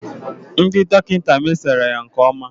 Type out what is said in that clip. Ndị dọkịta mesoro ya nke ọma